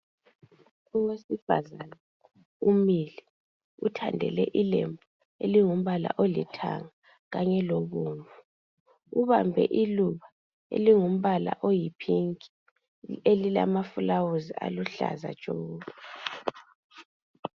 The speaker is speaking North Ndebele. Owesifazana umile uthandele ilembu elingumpala oliyithanga kanye lobomvu , ubambe iluba elingumpala oyipink elilamafulawuzi aluhlaza tshoko